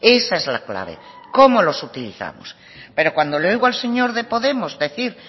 esa es la clave cómo los utilizamos pero cuando le oigo al señor de podemos decir